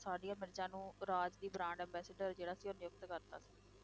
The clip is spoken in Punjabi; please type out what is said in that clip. ਸਾਨੀਆ ਮਿਰਜ਼ਾ ਨੂੰ ਰਾਜ ਦੀ brand ambassador ਜਿਹੜਾ ਸੀ ਉਹ ਨਿਯੁਕਤ ਕਰ ਤਾ ਸੀ।